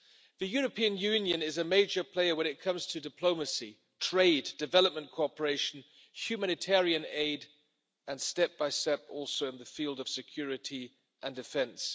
The European Union is a major player when it comes to diplomacy, trade, development cooperation, humanitarian aid and step by step also in the field of security and defence.